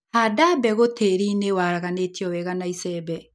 Handa mbegũ tĩrinĩ waraganĩtio wega na icembe.